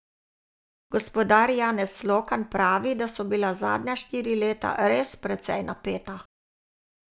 Gospodar Janez Slokan pravi, da so bila zadnja štiri leta res precej napeta.